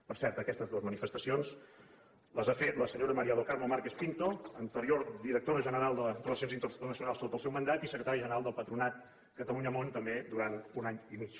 per cert aquestes dues manifestacions les ha fetes la senyora maria do carmo marques pinto anterior directora general de relacions internacionals sota el seu mandat i secretària general del patronat catalunya món també durant un any i mig